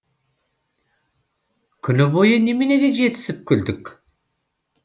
күні бойы неменеге жетісіп күлдік